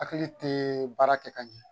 Hakili te baara kɛ ka ɲɛ